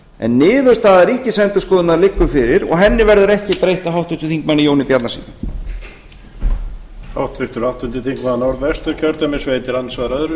en niðurstaða ríkisendurskoðun liggur fyrir og henni verður ekki breytt af háttvirtum þingmanni jóni bjarnasyni